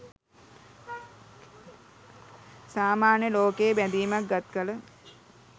සාමාන්‍ය ලෝකයේ බැඳීමක් ගත් කළ